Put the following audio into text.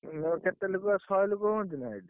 କେତେ ଲୋକ ଶହେ ଲୋକ ହୁଅନ୍ତି ନା?